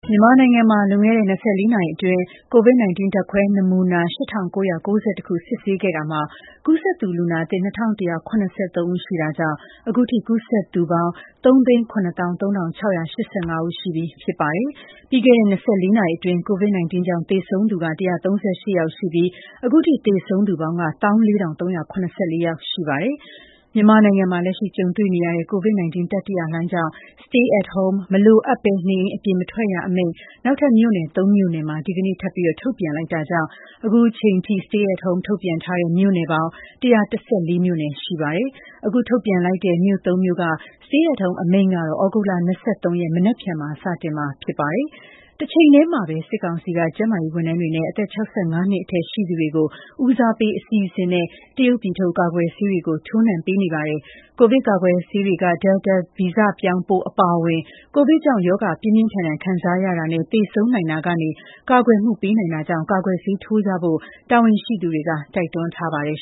မြန်မာနိုင်ငံမှာလွန်ခဲ့တဲ့ ၂၄ နာရီအတွင်းCOVID-19 ဓါတ်ခွဲနမူနာ ၈၉၉၁ ခု စစ်ဆေးခဲ့တာမှာ ကူးစက်သူ လူနာသစ် ၂,၁၇၃ ဦး ရှိတာကြောင့် အခုထိ ကူးစက်ထားသူ ပေါင်း ၃၇၃,၆၈၅ ဦး ရှိပြီဖြစ်ပါတယ်။ ပြီးခဲ့တဲ့ ၂၄ နာရီအတွင်း COVID-19 ကြောင့် သေဆုံးသူ ၁၃၈ ယောက်ရှိပြီး အခုထိ သေဆုံးသူ စုစုပေါင်း ၁၄,၃၇၄ ယောက် ရှိပါတယ်။ မြန်မာနိုင်ငံမှာ လက်ရှိကြုံတွေ့နေရတဲ့ ကိုဗစ်-၁၉ တတိယလှိုင်းကြောင့် Stay at home - မလိုအပ်ဘဲ နေအိမ်အပြင်မထွက်ရအမိန့်နောက် ထပ်မြို့နယ် ၃ မြို့နယ်မှာ ဒီကနေ့ ထပ်မံ ထုတ်ပြန်လိုက်တာ ကြောင့် အခုချိန်ထိ Stay at home ထုတ်ထားတဲ့မြို့ပေါင်း ၁၁၄ မြို့ ရှိသွားပြီ ဖြစ်ပါတယ်။ အခု အသစ် ထုတ်ပြန်တဲ့ မြို့ ၃ မြို့က Stay at home အမိန့်ကတော့ သြဂုတ်လ ၂၃ ရက်၊ မနက်ဖြန်မှာ စတင်မှာ ဖြစ်ပါတယ်။ တချိန်တည်းမှာပဲ စစ်ကောင်စီက ကျန်းမာရေးဝန်ထမ်းတွေနဲ့ အသက် ၆၅ နှစ်အထက်ရှိသူတွေကို ဦးစားပေးအစီအစဉ်နဲ့ တရုတ်ပြည်ထုတ် ကာကွယ်ဆေးတွေကို ထိုးနှံပေးနေပါတယ်။ ကိုဗစ် ကာကွယ်ဆေးတွေက ဒယ်လ်တာ ဗီဇပြောင်းပိုး အပါအဝင် ကိုဗစ်ကြောင့် ရောဂါပြင်းပြင်းထန်ထန် ခံစားရတာနဲ့ သေဆုံးနိုင်တာကနေ ကာကွယ်မှုပေးနိုင်တာကြောင့် ကာကွယ်ဆေးထိုးကြဖို့လည်း တာဝန်ရှိသူတွေက တိုက်တွန်းထားပါတယ်